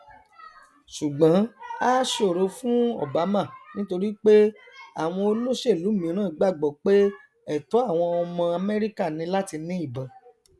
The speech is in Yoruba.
ṣùgbọn á ṣòro fún obama nítorí pé àwọn olóṣèlú míràn gbàgbọ pé ẹtọ àwọn ọmọ amẹrika ni láti ní ìbọn